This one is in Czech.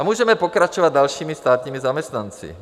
A můžeme pokračovat dalšími státními zaměstnanci.